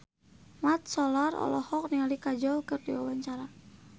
Mat Solar olohok ningali Kajol keur diwawancara